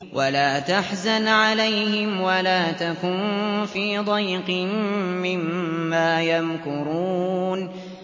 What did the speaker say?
وَلَا تَحْزَنْ عَلَيْهِمْ وَلَا تَكُن فِي ضَيْقٍ مِّمَّا يَمْكُرُونَ